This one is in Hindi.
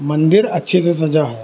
मंदिर अच्छे से सजा है।